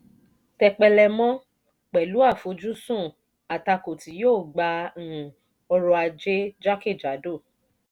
tepélemọ: pẹ̀lú àfojúsùn àtakò tí yóò gbà um ọrọ̀ ajé jákèjádò.